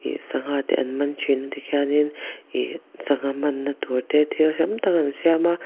sangha te an man thina tikhianin ihh sangha manna tur te thil dang dang an siam a.